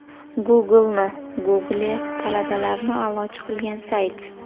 Google’ni Google, talabalarni a’lochi qilgan sayt.